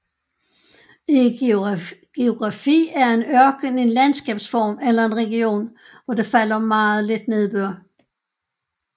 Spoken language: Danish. I geografi er en ørken en landskabsform eller en region hvor der falder meget lidt nedbør